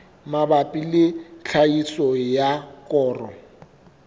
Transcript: mabapi le tlhahiso ya koro